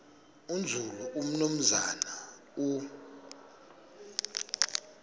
nzulu umnumzana u